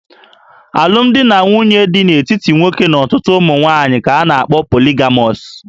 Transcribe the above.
Alụmdi na nwunye dị n'etiti nwoke na ọtụtụ ụmụ nwaanyị ka a na-akpọ poligamọs